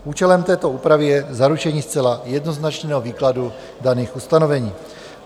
Účelem této úpravy je zaručení zcela jednoznačného výkladu daných ustanovení.